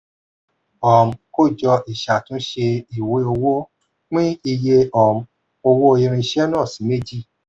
um kójọ ìṣàtúnṣe ìwé owó pín iye um owó irinṣẹ́ náà sì méjì